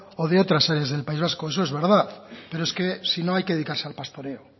o de otras áreas del país vasco eso es verdad pero es que si no hay que dedicarse al pastoreo